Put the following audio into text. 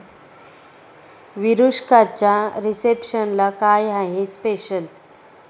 विरुष्काच्या रिसेप्शनला काय आहे स्पेशल?